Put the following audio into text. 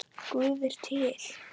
Guð er til.